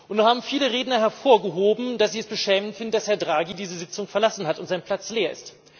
Nun haben viele Redner hervorgehoben, dass sie es beschämend finden, dass Herr Draghi diese Sitzung verlassen hat und sein Platz leer ist.